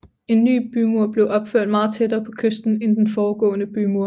En ny bymur blev opført meget tættere på kysten end den foregående bymur